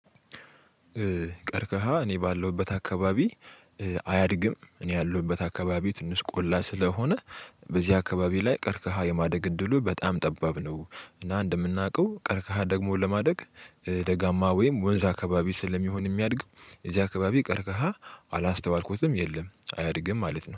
ቀርቀሃ እኔ ባለውበት አካባቢ አያድግም። እኔ ያለውበት አካባቢው ትንስ ቆላ ስለሆነ በዚህ አካባቢ ላይ ቀርከሃ የማደግ እድሉ በጣም ጠባብ ነው። እና እንደምናውቀው ቀርከሃ ደግሞ ለማደግ ደጋማ ወይም ወንዝ አካባቢ ስለሚሆን የሚያድግ እዚህ አካባቢ ቀርከሃ አላስተዋልኩትም የለም አያድግም ማለት ነው